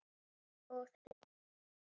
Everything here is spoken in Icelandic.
Og þeir glápa.